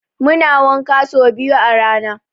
Muna wanka so biyu a rana.